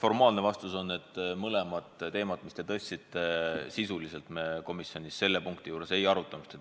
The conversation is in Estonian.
Formaalne vastus on, et kumbagi teemat, mis te tõstatasite, sisuliselt me komisjonis selle punkti juures ei arutanud.